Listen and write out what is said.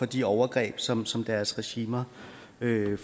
de overgreb som som deres regimer